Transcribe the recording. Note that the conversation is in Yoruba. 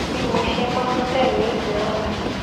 bí mo ṣe máa ń tè lé ìlànà